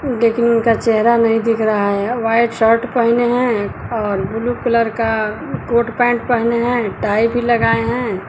लेकिन उनका चेहरा नहीं दिख रहा है वाइट शर्ट पहिने हैं और ब्लू कलर का कोट पैंट पहने हुए हैं टाई भी लगाए हैं।